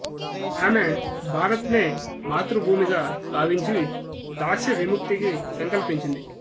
ఆమె భారత్ నే మాతృభూమిగా భావించి దాస్య విముక్తికి సంకల్పించింది